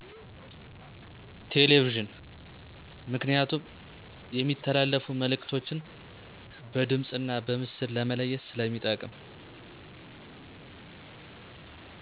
ቴሌቪዥን ምክንያቱም የሚተላለፉ መእልክቶችን በድምፅ እና በምስል ለማየት ስለሚጠቅም